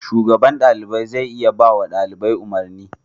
Shugaban ɗalibai zai iya bawa ɗalibai umarni.